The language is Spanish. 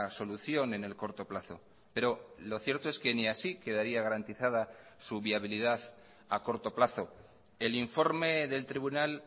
solución en el corto plazo pero lo cierto es que ni así quedaría garantizada su viabilidad a corto plazo el informe del tribunal